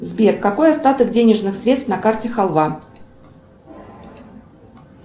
сбер какой остаток денежных средств на карте халва